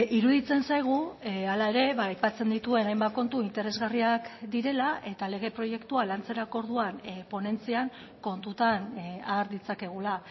iruditzen zaigu hala ere aipatzen dituen hainbat kontu interesgarriak direla eta lege proiektua lantzerako orduan ponentzian kontutan har ditzakegula